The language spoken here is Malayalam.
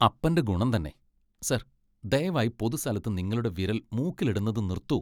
അപ്പന്റെ ഗുണം തന്നെ! സർ, ദയവായി പൊതുസ്ഥലത്ത് നിങ്ങളുടെ വിരൽ മൂക്കിലിടുന്നത് നിർത്തൂ.